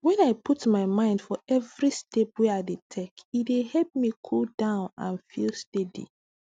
when i put my mind for every step wey i dey take e dey help me cool down and feel steady